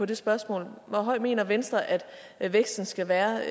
det spørgsmål hvor høj mener venstre at at væksten skal være